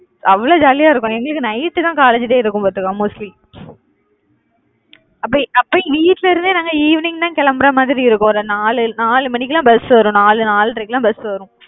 அவ்வளவு jolly யா இருக்கும். எங்களுக்கு night தான் college day இருக்கும் பாத்துக்க mostly அப்ப அப்ப வீட்டுல இருந்தே நாங்க evening தான் கிளம்புற மாதிரி இருக்கும். ஒரு நாலு நாலு மணிக்கெல்லாம் bus வரும். நாலு நாலரைக்கெல்லாம் bus வரும்